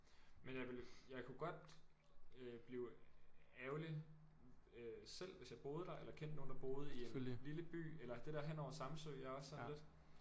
Men jeg ville jeg kunne godt øh blive ærgerlig øh selv hvis jeg boede der eller kendte nogen der boede i en lille by eller det der hen over Samsø jeg er også sådan lidt